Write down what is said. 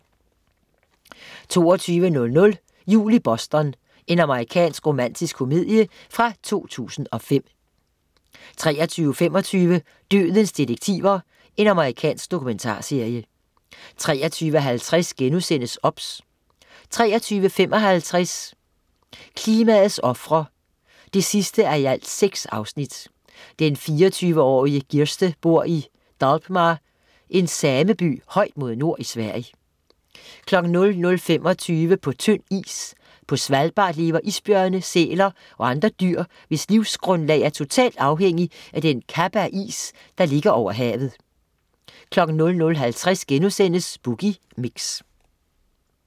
22.00 Jul i Boston. Amerikansk romantisk komedie fra 2005 23.25 Dødens detektiver. Amerikansk dokumentarserie 23.50 OBS* 23.55 Klimaets ofre 6:6. Den 24-årige Girste bor i Dàlbma, en sameby højt mod nord i Sverige 00.25 På tynd is. På Svalbard lever isbjørne, sæler og andre dyr, hvis livsgrundlag er totalt afhængig af den kappe af is, der ligger over havet 00.50 Boogie Mix*